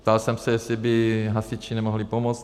Ptal jsem se, jestli by hasiči nemohli pomoct.